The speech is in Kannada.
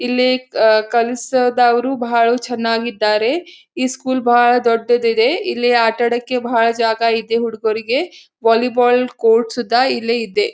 ಇಲ್ಲಿ ಅಹ್ ಕ ಕಲ್ಸದವರು ಬಹಳು ಚನ್ನಾಗಿ ಇದ್ದಾರೆ ಇ ಸ್ಕೂಲ್ ಬಹಳ ದೊಡ್ಡದ ಇದೆ ಇಲ್ಲಿ ಆಟ ಆಡಕ್ಕೆ ಬಹಳ್ ಜಾಗ ಇದೇ ಹುಡುಗುರಿಗೆ ವಾಲಿ ಬಾಲ್ ಕೋರ್ಟ್ಸು ದ ಇಲ್ಲೆ ಇದೆ.